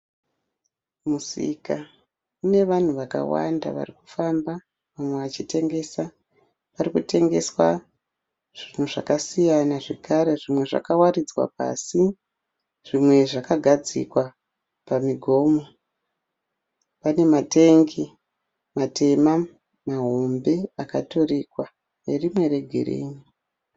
Musika une vanhu vakawanda varikufamba vamwe vachitengesa. Parikutengeswa zvinhu zvakasiyana zvekare zvimwe zvakawaridzwa pasi zvimwe zvakagadzikwa pamigomo. Pane matengi matema mahombe akaturikwa nerimwe regirini.